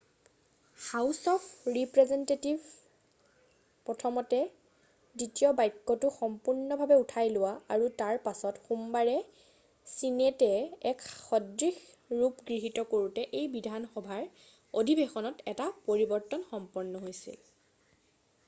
house of ৰিপ্ৰেজেন্টেটিভে প্ৰথমতে দ্বিতীয় বাক্যটো সম্পূৰ্ণভাৱে উঠাই লোৱা আৰু তাৰ পিছত সোমবাৰে ছিনেটে এক সদৃশ ৰূপ গৃহীত কৰোতে এই বিধানসভাৰ অধিৱেশনত এটা পৰিৱৰ্তন সম্পন্ন হৈছিল